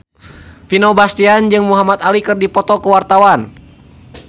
Vino Bastian jeung Muhamad Ali keur dipoto ku wartawan